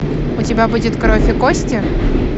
у тебя будет кровь и кости